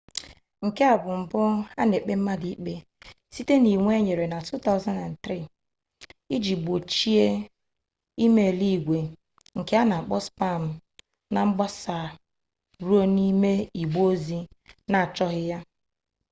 nke a bụ mbụ a na-ekpe mmadụ ikpe site n'iji iwu enyere na 2003 iji gbochie e-mail igwe nke a na-akpọ spam na mgbasa ruo n'ime igbe ozi ndị na-achọghị ya